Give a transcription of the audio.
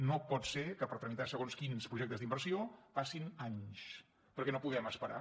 no pot ser que per tramitar segons quins projectes d’inversió passin anys perquè no podem esperar